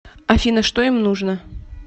афина что им нужно